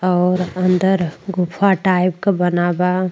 और अंदर गुफा टाइप का बना बा।